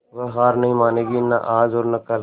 वह हार नहीं मानेगी न आज और न कल